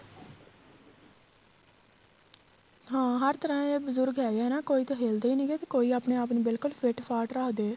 ਹਾਂ ਹਰ ਤਰ੍ਹਾਂ ਦੇ ਬਜੁਰਗ ਹੈਗੇ ਏ ਤੇ ਕੋਈ ਤੇ ਹਿਲਦੇ ਹੀ ਨਹੀ ਨੀਗੇ ਤੇ ਕੋਈ ਆਪਣੇ ਆਪ ਨੂੰ ਬਿਲਕੁਲ ਫਿੱਟਫਾਟ ਰੱਖਦੇ ਏ